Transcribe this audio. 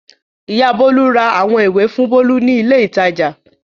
Ìyá Bólú ra àwọn ìwé fún Bólú ní ilé-ìtajà.